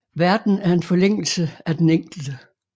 Verden er en forlængelse af den enkelte